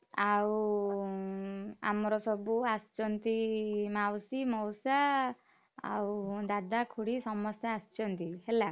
ଆଉ ଆମର ସବୁ ଆସିଛନ୍ତି ମାଉସୀ, ମଉସା, ଆଉ ଦାଦା, ଖୁଡୀ ସମସ୍ତେ ଆସିଛନ୍ତି ହେଲା।